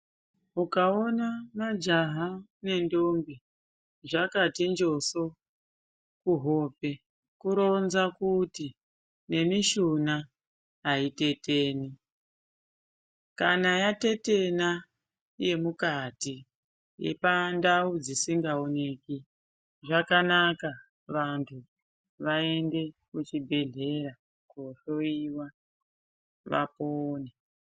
Ukaona majaha nendombi zvakati njoso kuhope kuronza kuti nemishuna aiteteni. Kana yatetena yemukati, yepandau dzisingaoneki zvakanaka vantu vaende kuchibhadhlera kohloiwa vapone.